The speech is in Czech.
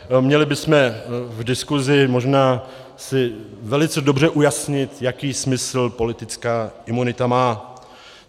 Měli bychom v diskusi možná si velice dobře ujasnit, jaký smysl politická imunita má.